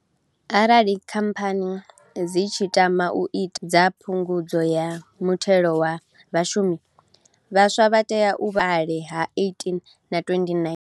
Arali Khamphani dzi tshi tama u ita mbilo dza Phungudzo ya Muthelo wa Vhashumi, vhaswa vha tea u vha hukale ha 18 na 29.